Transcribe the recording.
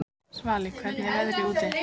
Svali, hvernig er veðrið úti?